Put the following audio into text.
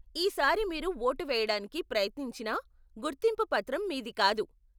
ఈ సారి మీరు ఓటు వేయడానికి ప్రయత్నించిన గుర్తింపు పత్రం మీది కాదు.